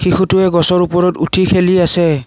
শিশুটোৱে গছৰ ওপৰত উঠি খেলি আছে।